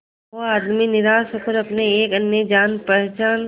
वो आदमी निराश होकर अपने एक अन्य जान पहचान